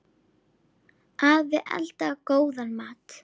Afi eldaði góðan mat.